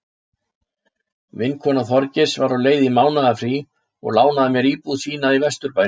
Vinkona Þorgeirs var á leið í mánaðarfrí og lánaði mér íbúð sína í vesturbænum.